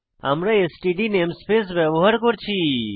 আমরা STD namespace ব্যবহার করেছি